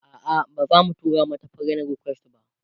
a'a bazamu tura mata friend request ba